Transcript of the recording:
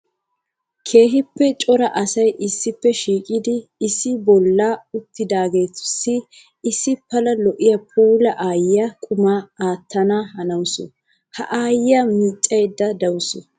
Keehippe cora asay issippe shiiqiddi issi bolla uttidagetussi issi pala lo'iya puula aayiya quma aattana hanawusu. Ha aayiya miicayidde de'awussu.